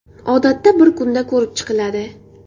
Odatda, bir kunda ko‘rib chiqiladi.